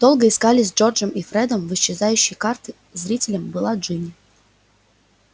долго искали с джорджем и фредом в исчезающие карты зрителем была джинни